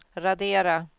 radera